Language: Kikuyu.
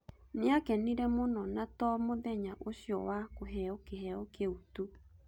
Nĩakenire mũno na to mũthenya ũcio wa kũheo kĩheo kĩu tu